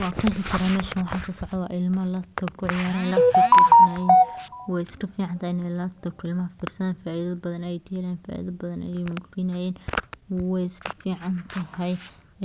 Wa fahmikara mesha wxa kasocdo, wa ilma laptop kuciyarayan, wayoska ficantahay in laptop ilmaha firsadan faida badan ay keney way iskaficantahay,